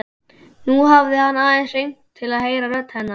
Nú hafði hann aðeins hringt til að heyra rödd hennar.